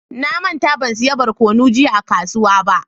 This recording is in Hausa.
Na manta ban siya barkonu jiya a kasuwa ba.